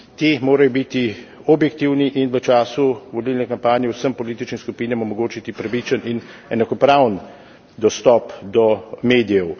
Ti morajo biti objektivni in v času volilne kampanje vsem političnim skupinam omogočiti pravičen in enakopraven dostop do medijev.